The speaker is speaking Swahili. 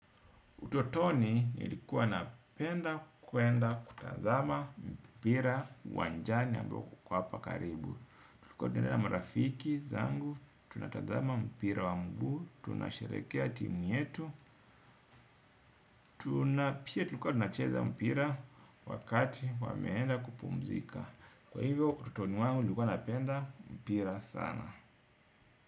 Utotoni nilikuwa napenda kuenda kutazama mpira uwanjani ambao uko hapa karibu. Kuendelea na marafiki zangu, tunatazama mpira wa mguu, tunasherekea timu yetu, tunapia tunacheza mpira wakati wameenda kupumzika. Kwa hivyo, utotoni wangu nilikuwa napenda mpira sana.